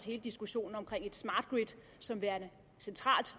hele diskussionen om et smart grid som værende central